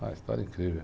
Uma história incrível.